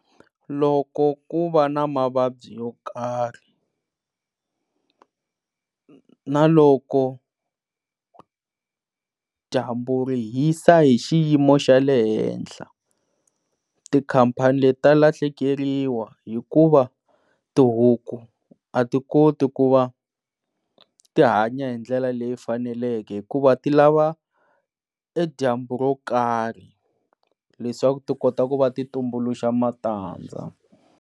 Loko ku va na mavabyi yo karhi na loko dyambu ri hisa hi xiyimo xa le henhla tikhampani leti ta lahlekeriwa hikuva tihuku a ti koti ku va tihanya hi ndlela leyi faneleke hikuva ti lava e dyambu ro karhi leswaku ti kota ku va ti tumbuluxa matandza.